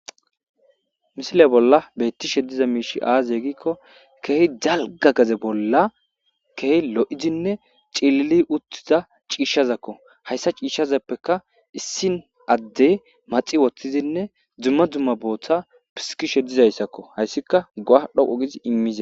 Misile bolla beettishe diza miishi aaze gikko keehi dalga gade bolla keeh lo7izinne cilili uttida ciishshazakko. Hayssa ciishshazappeka issin addey maxi wothtizinne dumma dumma booththa pisikishe dizayssakko hayssika go7a dhoqo gizi immize..